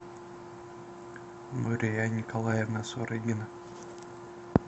мария николаевна сурыгина